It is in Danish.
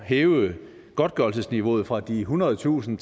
hæve godtgørelsesniveauet fra de ethundredetusind